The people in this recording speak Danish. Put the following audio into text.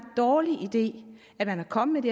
dårlig idé at man er kommet